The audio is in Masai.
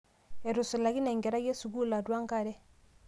etusulakine enkerai esukuul atua enkare